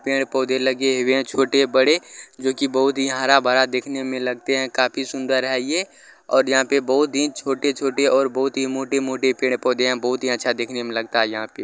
पेड़-पौधे लगे हुए हैं छोटे-बड़े जो की बहुत ही हरा-भरा देखने में लगते हैं काफी सुंदर है ये और यहाँ पे बहुत ही छोटे-छोटे और बहुत ही मोटे- मोटे पेड़-पौधे है बहुत ही अच्छा देखने में लगता है यहाँ पे ---